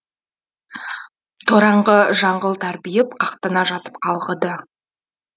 тораңғы жыңғыл тарбиып қақтана жатып қалғыды